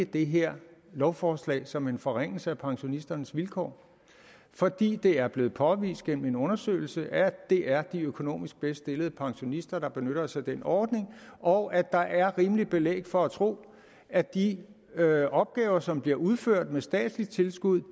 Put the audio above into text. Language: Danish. det her lovforslag som en forringelse af pensionisternes vilkår fordi det er blevet påvist gennem en undersøgelse at det er de økonomisk bedst stillede pensionister der benytter sig af den ordning og at der er rimeligt belæg for at tro at de opgaver som bliver udført med statsligt tilskud